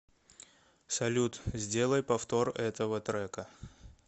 салют сделай повтор этого трека